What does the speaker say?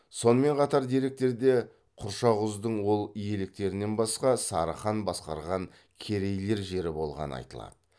сонымен қатар деректерде құршақұздың ол иеліктерінен басқа сары хан басқарған керейлер жері болғаны айтылады